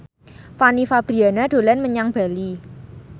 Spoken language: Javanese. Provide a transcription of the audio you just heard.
Fanny Fabriana dolan menyang Bali